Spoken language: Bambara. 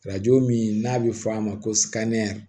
Arajo min n'a bɛ fɔ a ma ko